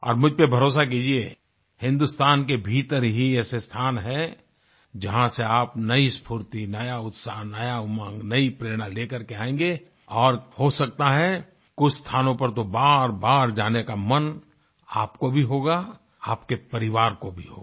और मुझपे भरोसा कीजिए हिंदुस्तान के भीतर ही ऐसे स्थान हैं जहाँ से आप नई स्फूर्ति नया उत्साह नया उमंग नई प्रेरणा ले करके आएंगें और हो सकता है कुछ स्थानों पर तो बारबार जाने का मन आपको भी होगा आपके परिवार को भी होगा